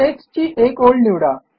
टेक्स्टची एक ओळ निवडा